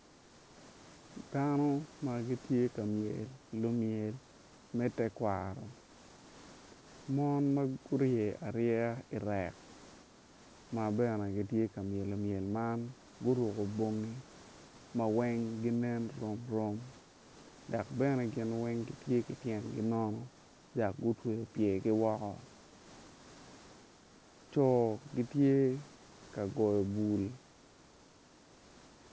Dano ma gitye ka myelo myel me tekwaro mon ma gurye aryeya irek ma bene gitye ka myelo myel man guruko bongi ma weng ginen rom rom dok bene gin weng gitye ki pyergi nono dok gutweyo pyergi woko co gitye ka goyo bul.